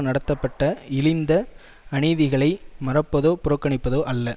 நடத்தப்பட்ட இழிந்த அநீதிகளை மறப்பதோ புறக்கணிப்பதோ அல்ல